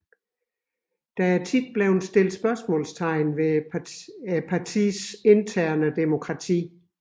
Der er ofte blevet stillet spørgsmålstegn ved partiets interne demokrati